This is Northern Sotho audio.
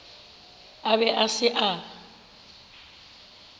a be a se a